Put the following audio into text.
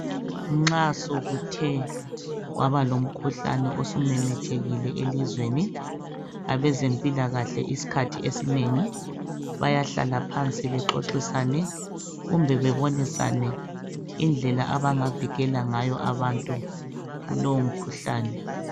Nxa sokuthe kwaba lomkhuhlane osumemetheka elizweni abezempilakahle isikhathi esinengi bayahlala phansi bexoxisane kumbe bebonisane indlela abangavikela ngayo abantu kulowomkhuhlane.